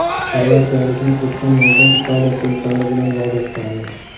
Xorvatiyalikni o‘tgan yozda Italiya klublari bilan bog‘lashgandi.